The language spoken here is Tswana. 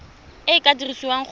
e e ka dirisiwang go